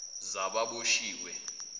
zababoshiwe